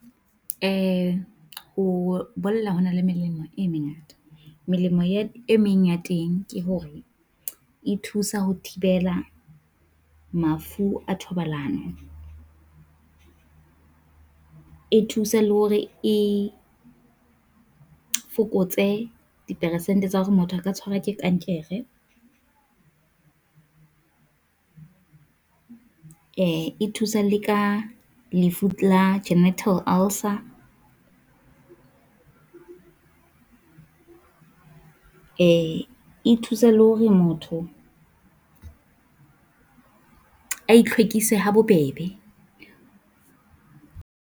Eh, ho bolla ho na le melemo e mengata, melemo e meng ya teng ke hore e thusa ho thibela mafu a thobalano. E thusa le hore e fokotse dipersente tse hore motho a ka tshwarwa ke kankere, le ka lefu la genital ulcer. Eh, e thusa le hore motho a itlhwekise ha bobebe.